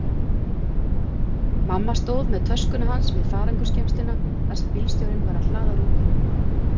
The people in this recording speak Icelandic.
Mamma stóð með töskuna hans við farangursgeymsluna þar sem bílstjórinn var að hlaða rútuna.